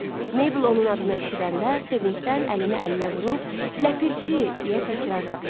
Meybl onun adını eşidəndə sevincdən əlini əlinə vurub, “Ləpirçi” deyə təkrarladı.